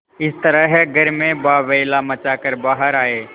इस तरह घर में बावैला मचा कर बाहर आये